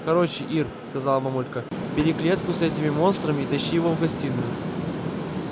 короче ир сказала мамулька бери клетку с этими монстрами и тащи его в гостиную